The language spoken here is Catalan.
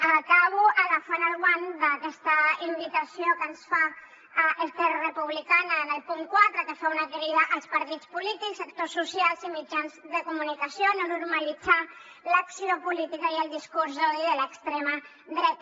acabo agafant el guant d’aquesta invitació que ens fa esquerra republicana en el punt quatre que fa una crida als partits polítics actors socials i mitjans de comunicació a no normalitzar l’acció política ni el discurs d’odi de l’extrema dreta